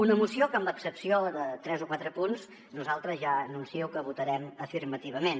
una moció que amb excepció de tres o quatre punts nosaltres ja anuncio que votarem afirmativament